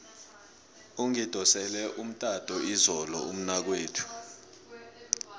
ungidosele umtato izolo umnakwethu